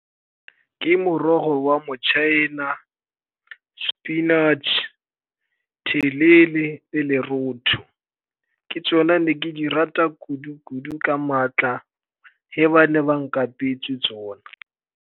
Ke morogo wa motšhaena, spinach, thelele le lerotho. Ke tsona ne ke di rata kudu-kudu ka maatla ge ba ne ba nkapetse tsona.